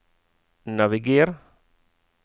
naviger